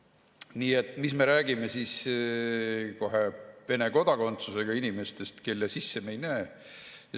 Nii et mis me räägime siis Vene kodakondsusega inimestest, kelle sisse me ei näe.